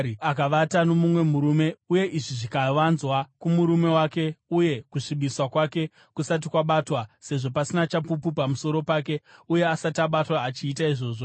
akavata nomumwe murume, uye izvi zvikavanzwa kumurume wake uye kusvibiswa kwake kusati kwabatwa (sezvo pasina chapupu pamusoro pake uye asati abatwa achiita izvozvo),